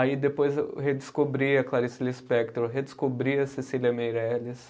Aí depois eu redescobri a Clarice Lispector, redescobri a Cecília Meirelles,